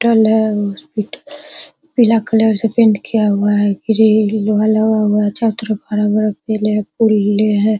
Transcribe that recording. Hospital है hospital पीला colour से पेंट किया हुआ है ग्रिल लोहा लगा हुआ है छत पे बड़ा-बड़ा पेड़े है फूलें हैं।